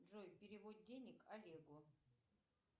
джой перевод денег олегу